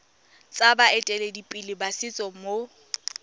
tsa baeteledipele ba setso mo